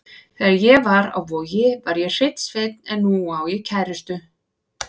Þegar ég var á Vogi var ég hreinn sveinn en nú á ég kærustu.